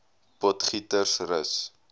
potgietersrus